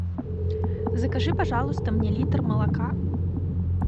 закажи пожалуйста мне литр молока